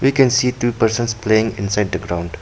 We can see two persons playing inside the ground.